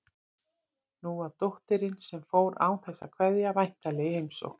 Nú var dóttirin, sem fór án þess að kveðja, væntanleg í heimsókn.